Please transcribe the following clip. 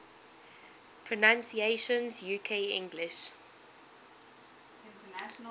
pronunciations uk english